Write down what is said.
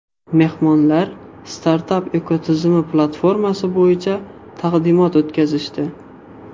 Mehmonlar startap ekotizimi platformasi buyicha taqdimot o‘tkazishdi.